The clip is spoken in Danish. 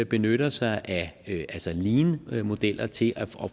benytter sig af leanmodeller til at